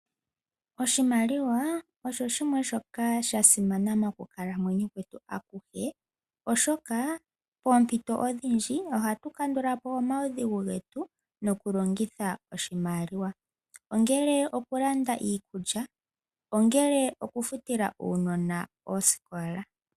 Oshimaliwa osho shimwe shoka sha simana mokukalamweyo kwetu akuhe, oshoka poompito odhindji ohatu kandulapo omaudhigu getu nokulongitha oshimaliwa, ongele okulanda iikulya, ongele okufutila uunona osikola.